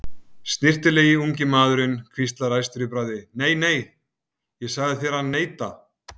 Snyrtilegi ungi maðurinn hvíslar æstur í bragði: Nei, nei, ég sagði þér að neita